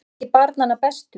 Að vera ekki barnanna bestur